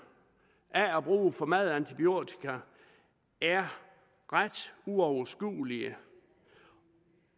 af at bruge for meget antibiotika er ret uoverskuelige